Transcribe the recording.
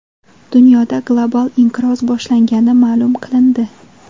Dunyoda global inqiroz boshlangani ma’lum qilindi.